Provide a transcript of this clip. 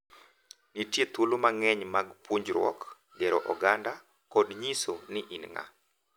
Nitie thuolo mang’eny mag puonjruok, gero oganda, kod nyiso ni in ng’a,